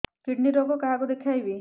kidney ରୋଗ କାହାକୁ ଦେଖେଇବି